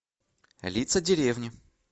лица деревни